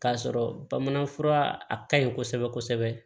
K'a sɔrɔ bamanan fura ka ɲi kosɛbɛ kosɛbɛ